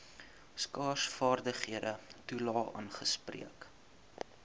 skaarsvaardighede toelae aangespreek